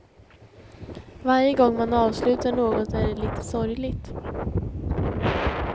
Varje gång man avslutar något är det lite sorgligt.